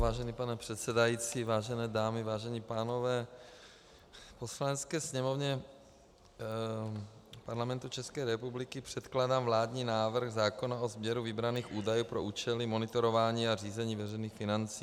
Vážený pane předsedající, vážené dámy, vážení pánové, Poslanecké sněmovně Parlamentu České republiky předkládám vládní návrh zákona o sběru vybraných údajů pro účely monitorování a řízení veřejných financí.